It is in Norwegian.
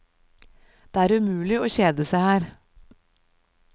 Det er umulig å kjede seg her.